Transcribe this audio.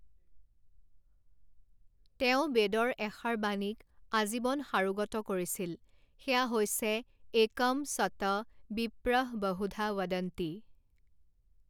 তেওঁ বেদৰ এষাৰ বাণীক আজীৱন সাৰোগত কৰিছিল, সেয়া হৈছে একম সত বিপ্ৰঃবহুধা ৱদন্তি।